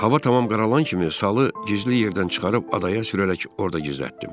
Hava tamam qaralan kimi salı gizli yerdən çıxarıb adaya sürərək orda gizlətdim.